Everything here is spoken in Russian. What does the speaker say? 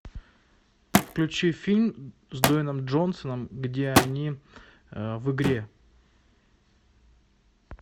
включи фильм с дуэйном джонсоном где они в игре